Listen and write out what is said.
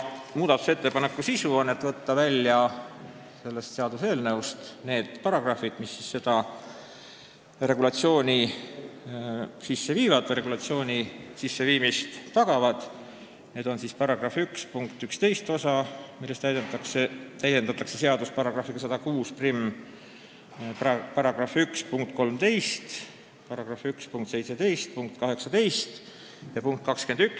Muudatusettepaneku sisu on võtta sellest seaduseelnõust välja need sätted, mis tagavad selle teenuse regulatsiooni sisseviimist, st § 1 punktist 11 osa, milles täiendatakse seadust §-ga 1061, § 1 punkt 13 ning § 1 punktid 17–18 ja punkt 21.